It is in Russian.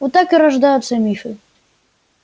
вот так и рождаются мифы